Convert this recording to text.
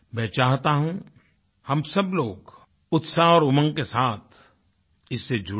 मैं चाहता हूँ हम सब लोग उत्साह और उमंग के साथ इससे जुड़े